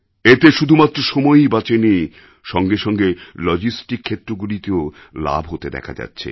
এতে শুধুমাত্র সময়ই বাঁচেনি সঙ্গে সঙ্গে লজিস্টিক ক্ষেত্রগুলিতেও লাভ হতে দেখা যাচ্ছে